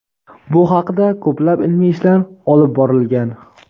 Bu haqida ko‘plab ilmiy ishlar olib borilgan.